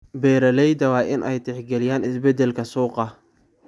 Beeralayda waa inay tixgeliyaan isbeddelka suuqa.